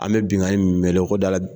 An bɛ binnkanni in mɛn dɛ ko dala